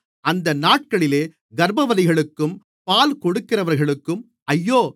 அந்த நாட்களிலே கர்ப்பவதிகளுக்கும் பால்கொடுக்கிறவர்களுக்கும் ஐயோ